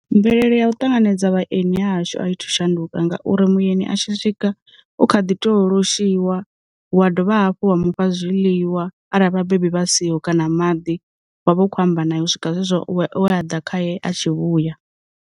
Mvelele ya u ṱanganedza vhaeni hashu a i thu shanduka ngauri muyani a tshi swika u kha ḓi to loshiwa, wa dovha hafhu wa mufha zwiḽiwa arali vhabebi vha siho kana maḓi, wa vha u kho amba na ye u swika zwe zwo we a ḓa khaye a tshi vhuya.